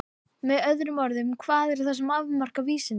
Með öðrum orðum: hvað er það sem afmarkar vísindi?